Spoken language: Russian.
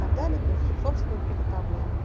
так далее то есть собственного приготовления